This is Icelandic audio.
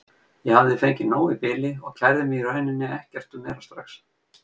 Ég hafði fengið nóg í bili og kærði mig í rauninni ekkert um meira strax.